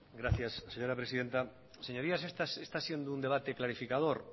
gracias señora presidenta señorías está siendo un debate clarificador